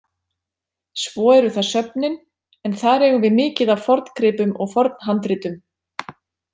Svo eru það söfnin en þar eigum við mikið af forngripum og fornhandritum.